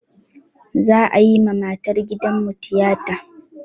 Za'a yi ma matar gidanmu tiyata.